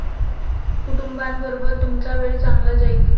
कुटुंबाबरोबर तुमचा वेळ चांगला जाईल.